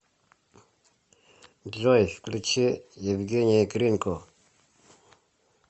джой включи евгений гринко